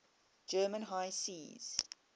german high seas